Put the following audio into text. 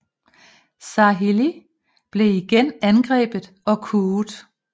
Sarhili blev igen angrebet og kuet